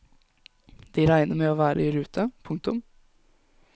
De regner med å være i rute. punktum